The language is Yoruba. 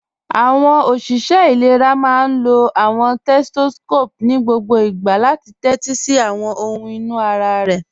Awọn oṣiṣẹ ilẹ̀rà máá n lọ awọn setoscopu ni gbogbò láti tẹtí sí awọn ọhun inú ara rẹ.